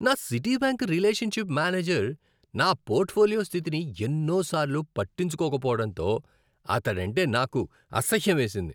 నా Citibank relationship manager నా portfolio స్థితిని ఎన్నో సార్లు పట్టించుకోకపోవడంతో అతడంటే నాకు అసహ్యమేసింది.